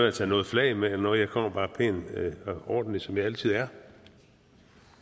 at tage noget flag med eller noget jeg kommer bare pæn og ordentlig som jeg altid er